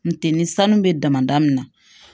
Ntɛ ni sanu bɛ damadamani na